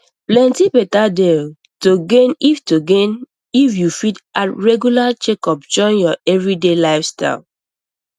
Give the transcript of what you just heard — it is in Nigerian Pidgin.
plenty better dey to gain if to gain if you fit add regular checkups join your everyday lifestyle